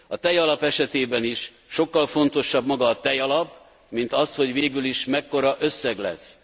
A tejalap esetében is sokkal fontosabb maga a tejalap, mint az, hogy végül is mekkora összeg lesz.